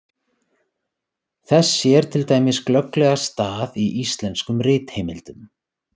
Þess sér til dæmis glögglega stað í íslenskum ritheimildum.